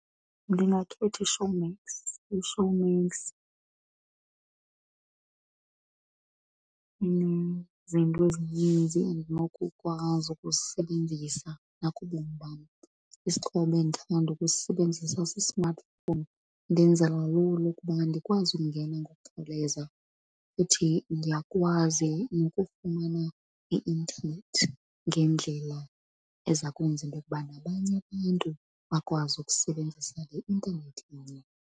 Ndingakhetha iShowmax. IShowmax inezinto ezininzi endinokukwazi ukuzisebenzisa nakubomi bam. Isixhobo endithanda ukusisebenzisa si-smartphone, ndenzela lula ukuba andikwazi ukungena ngokhawuleza futhi ndiyakwazi nokufumana i-intanethi ngendlela eza kwenza into yokuba nabanye abantu bakwazi ukusebenzisa le intanethi inye.